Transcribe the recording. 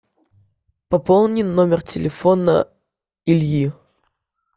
пополни номер телефона ильи